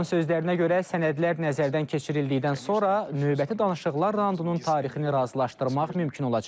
Onun sözlərinə görə sənədlər nəzərdən keçirildikdən sonra növbəti danışıqlar raundunun tarixini razılaşdırmaq mümkün olacaq.